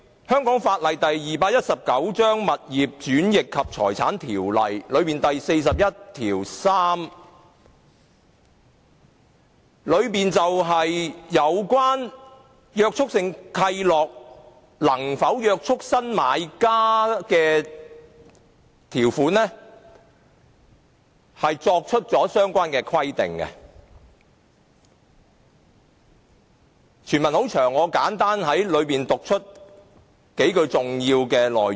香港法例第219章《物業轉易及財產條例》第413條就有關約束性契諾能否約束新買家的條款作出相關規定，由於全文很長，我會簡單讀出數句重要內容。